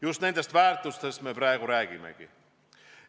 Just nendest väärtustest me praegu räägimegi.